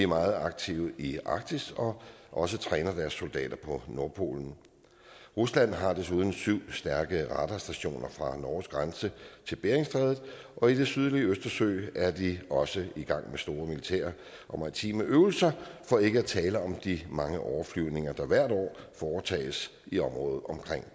meget aktive i arktis og også træner deres soldater på nordpolen rusland har desuden syv stærke radarstationer fra norges grænse til beringstrædet og i det sydlige østersøen er de også i gang med store militære og maritime øvelser for ikke at tale om de mange overflyvninger der hvert år foretages i området omkring